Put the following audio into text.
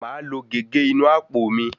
Màá lo gègé inú àpò mi.